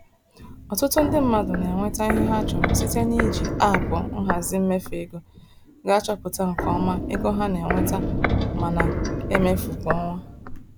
Ọtụtụ ndị mmadụ na-enweta ihe ha chọrọ site n'iji aapụ nhazi mmefu ego ga achọpụta nke ọma ego ha na-enweta ma na-emefu kwa ọnwa.